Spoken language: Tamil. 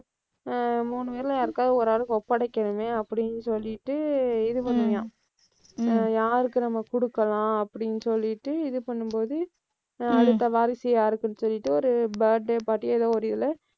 ஹம் மூணு பேருல யாருக்காவது ஒரு ஆளுக்கு ஒப்படைக்கணுமே அப்படின்னு சொல்லிட்டு, இது பண்ணுவான். யாருக்கு நம்ம கொடுக்கலாம்? அப்படின்னு சொல்லிட்டு இது பண்ணும்போது, அடுத்த வாரிசு யாருக்குன்னு சொல்லிட்டு, ஒரு birthday party ஏதோ ஒரு இதில